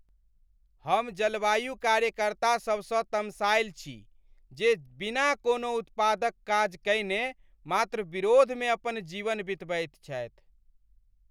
हम जलवायु कार्यकर्ता सभसँ तमसायल छी जे बिना कोनो उत्पादक काज कयने मात्र विरोधमे अपन जीवन बितबैत छथि।